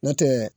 N'o tɛ